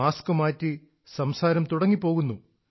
mask മാറ്റി സംസാരം തുടങ്ങിപ്പോകുന്നു